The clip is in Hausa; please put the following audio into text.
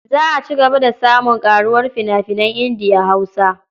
Za a ci gaba da samun ƙaruwar fina-finan Indiya-Hausa.